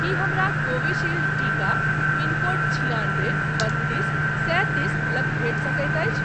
की हमरा कोविशील्ड टीका pin code छिआनबे बत्तीस सैंतीस लग भेटि सकैत अछि?